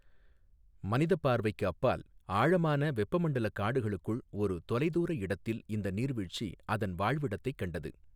மனித பார்வைக்கு அப்பால், ஆழமான வெப்பமண்டல காடுகளுக்குள் ஒரு தொலைதூர இடத்தில் இந்த நீர்வீழ்ச்சி அதன் வாழ்விடத்தைக் கண்டது.